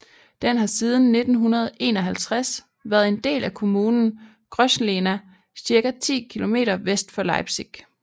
Den har siden 1951 været en del af kommunen Grosslehna cirka 10 kilometer vest for Leipzig